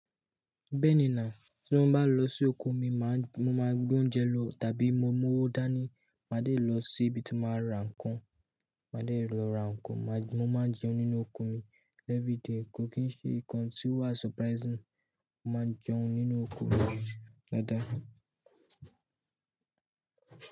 Bẹ́ẹ̀ni náà, tí mo bá lọ sí oko mi máa ń, mo máa gbé oúnjẹ lọ tàbí mo mọ ọ́ dá ní màá dé lọ síbi tí mo máa ra ǹkan. Màá dé lọ ra ǹkan, mo máa jẹun nínú oko mi every day. Kò kì í ṣe nǹkan tí ó wa surprising. Mo máa jẹun nínú oko mi lọ́dà.